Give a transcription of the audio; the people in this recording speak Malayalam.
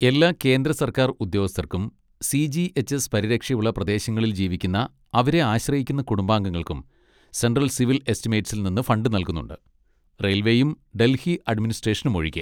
എല്ലാ കേന്ദ്ര സർക്കാർ ഉദ്യോഗസ്ഥർക്കും സി. ജി. എച്ച്. എസ് പരിരക്ഷയുള്ള പ്രദേശങ്ങളിൽ ജീവിക്കുന്ന അവരെ ആശ്രയിക്കുന്ന കുടുംബാംഗൾക്കും സെൻട്രൽ സിവിൽ എസ്റ്റിമേറ്റ്സിൽ നിന്ന് ഫണ്ട് നല്കുന്നുണ്ട്, റയിൽവേയും ഡൽഹി അഡ്മിനിസ്ട്രേഷനും ഒഴികെ.